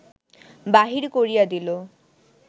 বাহির করিয়া দিল